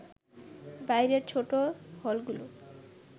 বাইরের ছোট হলগুলো